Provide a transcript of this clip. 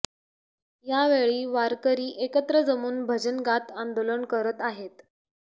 यावेळी वारकरी एकत्र जमून भजनं गात आंदोलन करत आहेत